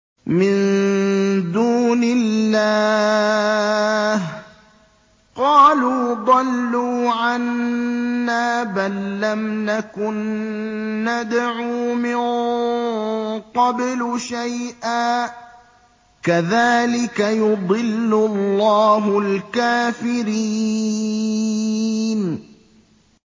مِن دُونِ اللَّهِ ۖ قَالُوا ضَلُّوا عَنَّا بَل لَّمْ نَكُن نَّدْعُو مِن قَبْلُ شَيْئًا ۚ كَذَٰلِكَ يُضِلُّ اللَّهُ الْكَافِرِينَ